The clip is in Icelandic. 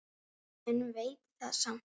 En vein var það samt.